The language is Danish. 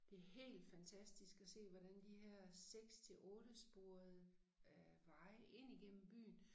Det helt fantastisk at se hvordan de her 6 til ottesporede øh veje ind igennem byen